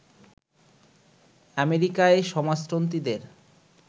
আমেরিকায় সমাজতন্ত্রীদের